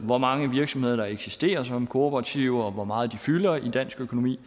hvor mange virksomheder der eksisterer som kooperativer og hvor meget de fylder i dansk økonomi